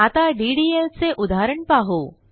आता डीडीएल चे उदाहरण पाहू